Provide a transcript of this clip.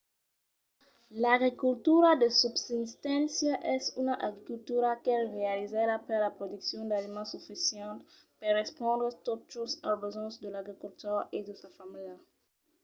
l'agricultura de subsisténcia es una agricultura qu'es realizada per la produccion d'aliments sufisents per respondre tot just als besonhs de l'agricultor e de sa familha